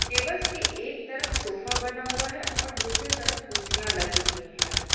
Tables के एक तरफ सोफा बना हुआ है और दूसरे तरफ कुर्सियां लगी हुई हैं।